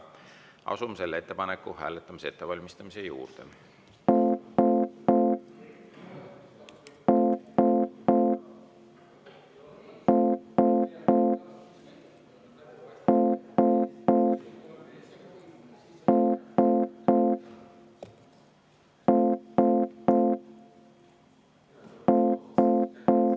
Asume selle ettepaneku hääletamise ettevalmistamise juurde.